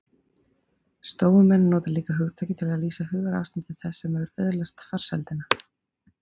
stóumenn nota líka hugtakið til að lýsa hugarástandi þess sem hefur öðlast farsældina